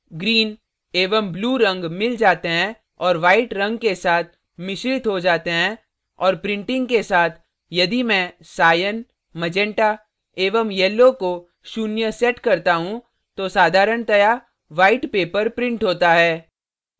red red green green एवं blue blue रंग mix जाते हैं और white रंग के साथ मिश्रित हो जाते हैं और printing के साथ यदि मैं cyan cyan meganta magenta एवं yellow yellow को शून्य set करता हूँ तो साधारणतया white white paper printed होता है